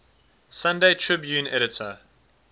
sunday tribune editor